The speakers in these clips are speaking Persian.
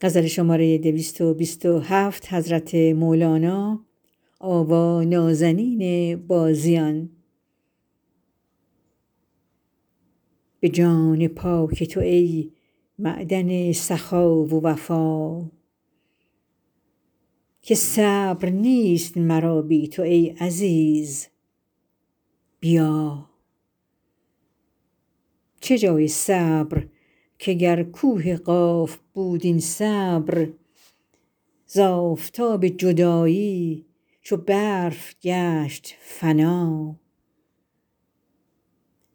به جان پاک تو ای معدن سخا و وفا که صبر نیست مرا بی تو ای عزیز بیا چه جای صبر که گر کوه قاف بود این صبر ز آفتاب جدایی چو برف گشت فنا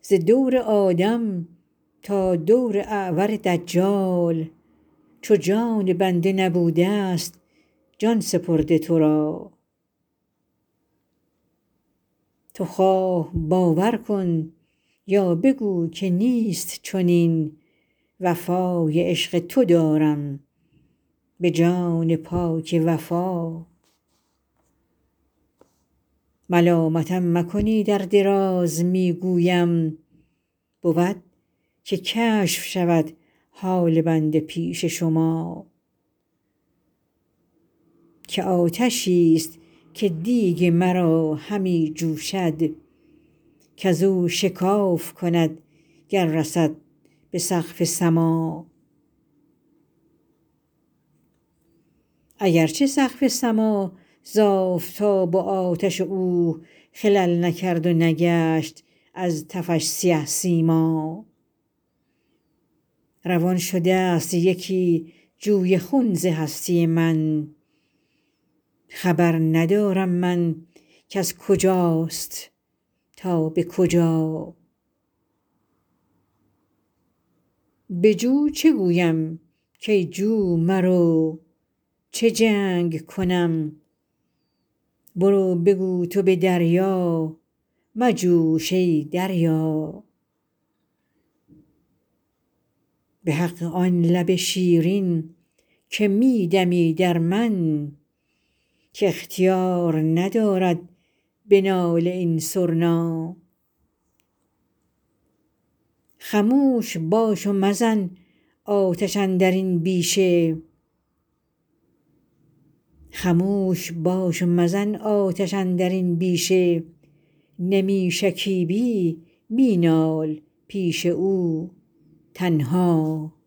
ز دور آدم تا دور اعور دجال چو جان بنده نبوده ست جان سپرده تو را تو خواه باور کن یا بگو که نیست چنین وفای عشق تو دارم به جان پاک وفا ملامتم مکنید ار دراز می گویم بود که کشف شود حال بنده پیش شما که آتشی ست که دیگ مرا همی جوشد کز او شکاف کند گر رسد به سقف سما اگر چه سقف سما ز آفتاب و آتش او خلل نکرد و نگشت از تفش سیه سیما روان شده ست یکی جوی خون ز هستی من خبر ندارم من کز کجاست تا به کجا به جو چه گویم کای جو مرو چه جنگ کنم برو بگو تو به دریا مجوش ای دریا به حق آن لب شیرین که می دمی در من که اختیار ندارد به ناله این سرنا خموش باش و مزن آتش اندر این بیشه نمی شکیبی می نال پیش او تنها